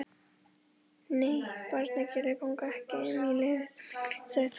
Nei, barnagælur ganga ekki um í leðurjökkum sagði Tóti.